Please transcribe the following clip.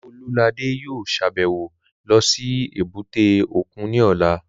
Olúladé yóò sàbẹ̀wo lọ sí èbúté òkun ní ọ̀la